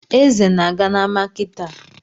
Eze na-aga n’ama kịtaa